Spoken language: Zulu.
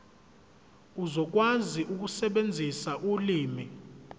uzokwazi ukusebenzisa ulimi